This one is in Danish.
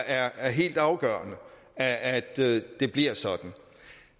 er helt afgørende at det bliver sådan